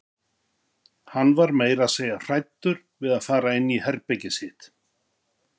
Hann var meira að segja hræddur við að fara inn í herbergið sitt.